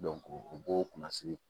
u b'o kunnasi